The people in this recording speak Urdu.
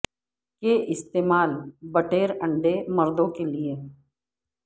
کے استعمال بٹیر انڈے مردوں کے لئے